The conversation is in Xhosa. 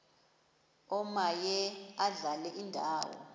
omaye adlale indawo